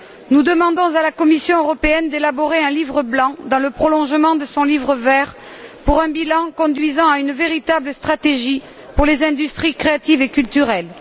Nous demandons à la Commission européenne d'élaborer un livre blanc dans le prolongement de son livre vert pour dresser un bilan conduisant à une véritable stratégie pour les industries créatives et culturelles.